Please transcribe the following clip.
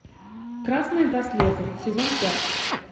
красные браслеты сезон пять